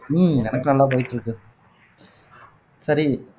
உம் எனக்கு நல்லா போயிட்டு இருக்கு சரி